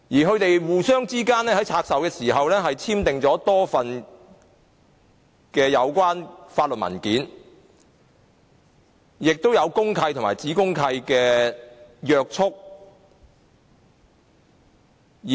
他們在拆售時互相簽訂了多份相關法律文件，亦受公契和子公契的約束。